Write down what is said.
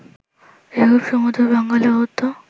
এরূপ সুমধুর বাঙ্গালা গদ্য